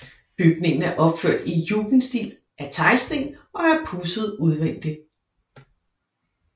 Bygningen er opført i jugendstil af teglsten og er pudset udvendigt